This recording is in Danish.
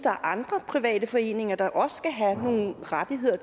der er andre private foreninger der også skal have nogle rettigheder